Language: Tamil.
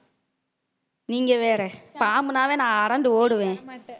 நீங்க வேற பாம்புன்னாவே நான் அரண்டு ஓடுவேன்.